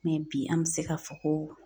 bi an bɛ se k'a fɔ ko